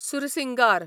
Sursingar